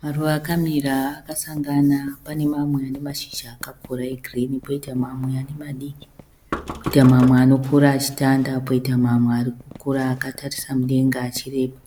Maruva akamira akasangana. Pane mamwe ane mashizha akakura e girinhi, poita mamwe ane madiki. Poita mamwe anokura achitanda. Poita mamwe arikukura akatarisa mudenga achireba.